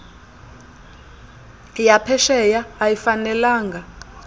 ya phesheya ayifanelanga